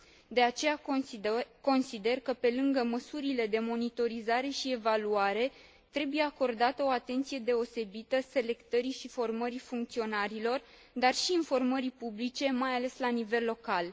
De aceea consider că, pe lângă măsurile de monitorizare și evaluare, trebuie acordată o atenție deosebită selectării și formării funcționarilor, dar și informării publice, mai ales la nivel local.